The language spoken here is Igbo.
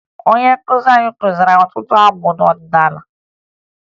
Onye nkụzi anyị kụziri anyị ọtụtụ abụ ọdịnaala